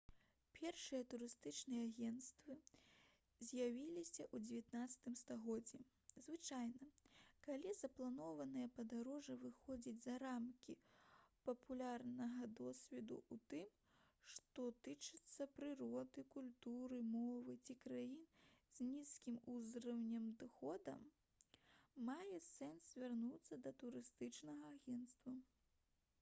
першыя турыстычныя агенцтвы з'явіліся ў 19 стагоддзі звычайна калі запланаванае падарожжа выходзіць за рамкі папярэдняга досведу ў тым што тычыцца прыроды культуры мовы ці краін з нізкім узроўнем даходу мае сэнс звярнуцца да турыстычнага агента